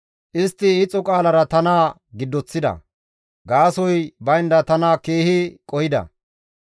Istti ixo qaalara tana giddoththida; gaasoykka baynda tana keehi qohida.